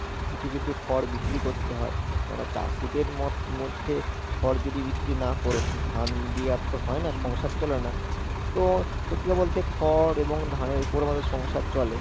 কিছু কিছু খড় বিক্রি করতে হয় কেননা চাষীদের মধ্যে খড় যদি বিক্রি না করো, শুধু ধান দিয়ে আর তো হয় না সংসার চলে না তো সত্যি কথা বলতে খড় এবং ধানের উপর আমাদের সংসার চলে।